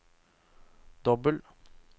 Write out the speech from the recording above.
dobbel